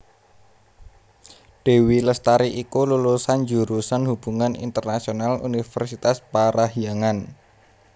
Dewi Lestari iku lulusan jurusan Hubungan Internasional Universitas Parahyangan